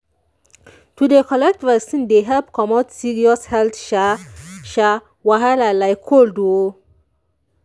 to dey collect vaccine dey help comot serious health sha sha wahala like cold o